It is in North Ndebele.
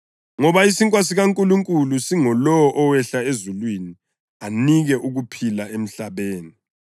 Ngoba isinkwa sikaNkulunkulu singulowo owehla ezulwini anike ukuphila emhlabeni.”